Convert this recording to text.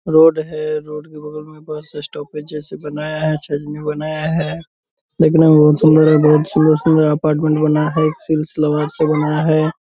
Road है road की बगल में बस स्टॉप जैसे बनाया है चलने बनाया है लेकिन अभी बहुत सुन्दर रोड है सुन्दर-सुन्दर अपार्टमेंट बना है सिर्फ सोलर से बनाया है ।